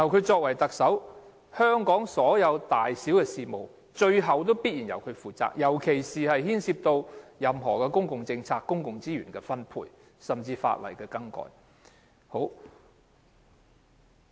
作為特首，香港所有大小事務，最後必然由他負責，尤其是牽涉任何公共政策和公共資源分配，甚至法例修改的事務。